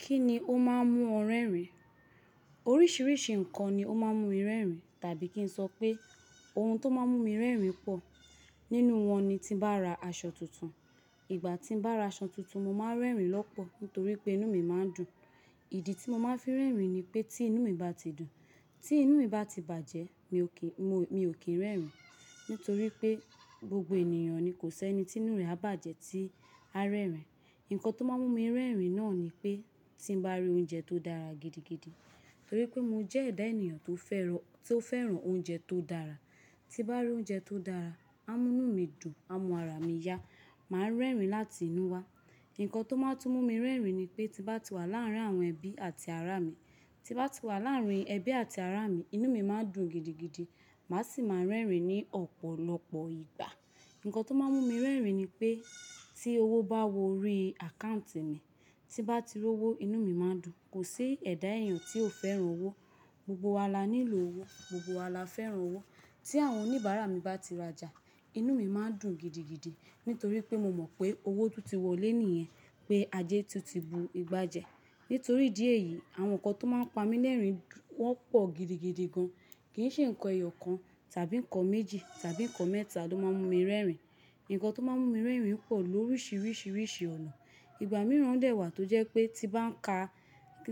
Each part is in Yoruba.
Kí ni ó máa ń mú ọ rẹ́rìn? Oríṣiríṣi nǹkan ni ó máa ń mú mi rẹ́rìn tàbí kí n sọ pé ohun tó máa ń mú mi rẹ́rìn pọ̀. Nínú wọn ni tí bá ra aṣọ tuntun. Ìgbà tí mo bá ra aṣọ tuntun, mo máa ń rẹ́rìn lọ́pọ̀ nítorí pé inú mi máa ń dùn. Ìdí tí mo máa ń fẹ́ rẹ́rìn ni pé tí inú mi bá ti dùn. Tí inú mi bá ti bàjẹ́, mi ò kì í, mi ò kí ń rẹ́rìn. Nítorí pé gbogbo ènìyàn ni kò sì ẹni tí inú rẹ̀ á bàjẹ́ tí á rẹ́rìn. Ǹkan tó máa ń mú mi rẹ́rìn náà ni pé tí mo bá rí oúnjẹ tó dára gidigidi. Nítorí pé mo jẹ́ ẹ̀dá ènìyàn tó fẹ́ràn, tó fẹ́ràn oúnjẹ tó dára. Tí bá rí oúnjẹ tó dára, á mú inú mi dùn, á mú ara mi yá. Màá rẹ́rìn láti inú wá. Ǹkan tó máa tún mú mi rẹ́rìn ni pé tí bá ti wà láàárín àwọn ẹbí àti ará mi. Tí bá ti wà láàárín ẹbí àti ará mi, inú mi máa ń dùn gidigidi. Màá sì máa rẹ́rìn ní ọ̀pọ̀lọpọ̀ ìgbà. Ǹkan tó máa ń mú mi rẹ́rìn ni pé tí owó bá wọ rí áccòuntì mi. Tí bá ti rí owó, inú mi máa dùn. Kò sí ẹ̀dá ènìyàn tí ò fẹ́ràn owó. Gbogbo wa la nílò owó, gbogbo wa la fẹ́ràn owó. Tí àwọn oníbàárà mi bá ti rajà, inú mi máa ń dùn gidigidi. Nítorí pé mo mọ̀ pé owó tó ti wọlé nìyẹn, pé ajé tù ti bu ìgbà jẹ. Nítorí ìdì éyìí, àwọn nǹkan tó máa ń pa mí lẹ́rìn wọ́n pọ̀ gidigidi gan. Kì í ṣe nǹkan ẹyọ kan tàbí nǹkan méjì tàbí nǹkan mẹ́ta ló máa ń mú mi rẹ́rìn. Ǹkan tó máa ń mú mi rẹ́rìn pọ̀ lóríṣiríṣi rìsî ọ̀nà. Ìgbà mìíràn dẹ̀ wà tó jẹ́ pé tí bá n ka,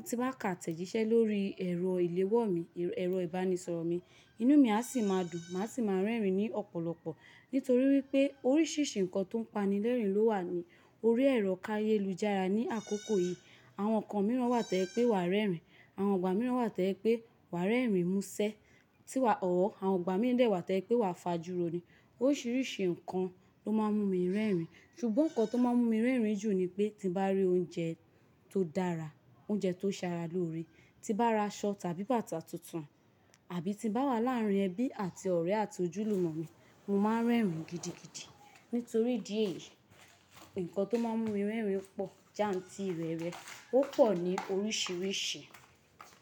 tí bá n ka átẹ̀jíṣẹ́ lórí ẹ̀rọ ìléwọ́ mi, ẹ̀rọ ìbánisọ̀rọ̀ mi, inú mi á sì máa dùn, màá sì máa rẹ́rìn ní ọ̀pọ̀lọpọ̀. Nítorí wípé oríṣiríṣi nǹkan tó ń pani lẹ́rìn ló wà ní orí ẹ̀rọ ká yéé lù jára ní àkókò yìí. Àwọn nǹkan mìíràn wà tò ye'pé wàá rẹ́rìn. Àwọn ìgbà mìíràn wà tò yé pé wàá rẹ́rìn mú ṣẹ́. Tí wà, or Àwọn ìgbà mìíràn dẹ̀ wà to'ye pé wàá fà júro ni. Oríṣiríṣi nǹkan ló máa ń mú mi rẹ́rìn. Ṣùgbọ́n nǹkan tó máa ń mú mi rẹ́rìn jù ni pé tí bá rí oúnjẹ tó dára, oúnjẹ tó ṣe ara lóore, tí bá ra aṣọ tàbí bàtà tuntun àbí tí bá wà láàárín ẹbí àti ọ̀rẹ́ àti ojúlùmọ̀ mi, mo máa ń rẹ́rìn gidigidi. Nítorí idi eyìí, nǹkan tó máa ń mú mi rẹ́rìn pọ̀ jántiirẹ̀rè, ó pọ̀ ní oríṣiríṣi.